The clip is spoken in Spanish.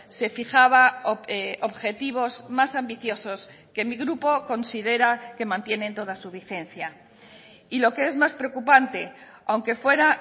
se fijaba objetivos más ambiciosos que mi grupo considera que mantienen toda su vigencia y lo que es más preocupante aunque fuera